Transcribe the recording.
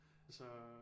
Altså